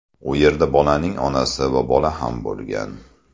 U yerda bolaning onasi va bola ham bo‘lgan.